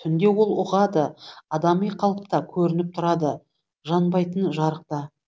түнде ол ұғады адами қалыпта көрініп тұрады жанбайтын жарықта